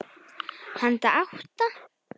Handa átta